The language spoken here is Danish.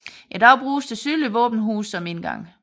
I dag bruges det sydlige våbenhus som indgang